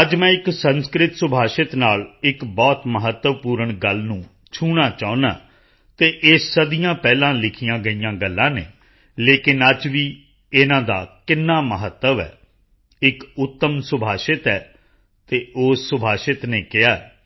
ਅੱਜ ਮੈਂ ਇਕ ਸੰਸਕ੍ਰਿਤ ਸੁਭਾਸ਼ਿਤ ਨਾਲ ਇੱਕ ਬਹੁਤ ਮਹੱਤਵਪੂਰਨ ਗੱਲ ਨੂੰ ਛੂਹਣਾ ਚਾਹੁੰਦਾ ਹਾਂ ਅਤੇ ਇਹ ਸਦੀਆਂ ਪਹਿਲਾਂ ਲਿਖੀਆਂ ਗਈਆਂ ਗੱਲਾਂ ਹਨ ਲੇਕਿਨ ਅੱਜ ਵੀ ਇਨ੍ਹਾਂ ਦਾ ਕਿੰਨਾ ਮਹੱਤਵ ਹੈ ਇੱਕ ਉੱਤਮ ਸੁਭਾਸ਼ਿਤ ਹੈ ਅਤੇ ਉਸ ਸੁਭਾਸ਼ਿਤ ਨੇ ਕਿਹਾ ਹੈ